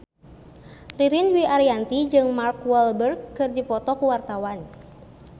Ririn Dwi Ariyanti jeung Mark Walberg keur dipoto ku wartawan